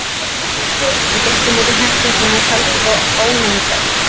Hann gekk á móti herflokknum og taldi þá álengdar.